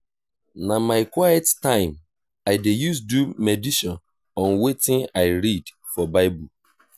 na my quiet time i dey use do medition on wetin i read for bible.